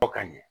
Fɔ ka ɲɛ